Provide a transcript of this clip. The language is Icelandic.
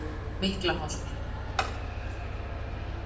Miklaholti